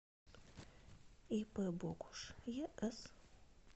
ип богуш ес